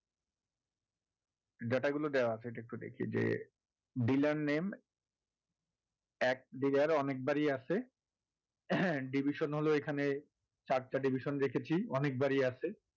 data গুলো দেওয়া আছে . dealer name এক dealer অনেকবারই আছে division হল এখানে চারটা division রেখেছি অনেকবারই আছে